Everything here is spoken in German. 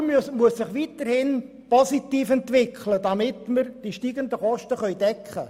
Die Konjunktur muss sich weiterhin positiv entwickeln, um die steigenden Kosten zu decken.